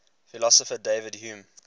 philosopher david hume